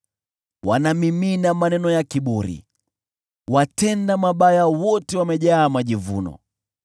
Wanamimina maneno ya kiburi, watenda mabaya wote wamejaa majivuno.